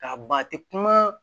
K'a ban a tɛ kuma